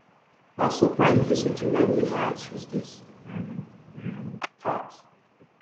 her surprise visit remind me why i choose this um um path